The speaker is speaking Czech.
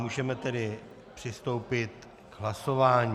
Můžeme tedy přistoupit k hlasování.